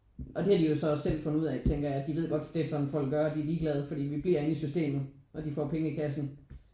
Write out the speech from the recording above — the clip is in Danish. Og det har de jo så også selv fundet ud af tænker jeg at de ved godt det er sådan folk gør og de er ligeglade fordi vi bliver inde i systemet og de får penge i kassen